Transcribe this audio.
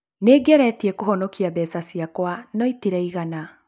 Nĩ ngeretie kũhonokia mbeca ciakwa no itĩraigana.